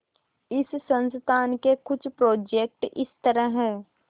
इस संस्थान के कुछ प्रोजेक्ट इस तरह हैंः